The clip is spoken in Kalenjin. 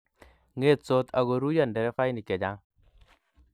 ngetsot ago ruiyo nderefainik chechang